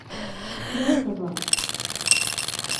трусова